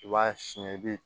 I b'a siyɛn i bi